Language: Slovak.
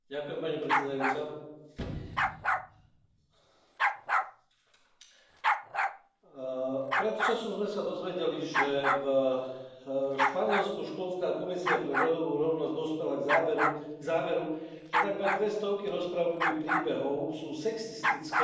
Vážená pani predsedajúca, pred časom sme sa dozvedeli, že v Španielsku školská komisia pre rodovú rovnosť dospela k záveru, že takmer dve stovky rozprávkových príbehov sú sexistické.